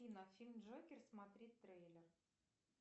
афина фильм джокер смотреть трейлер